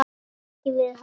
Kelaði ekki við hann.